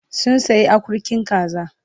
Sun sayi akurkin kaza